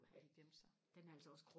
de gemte sig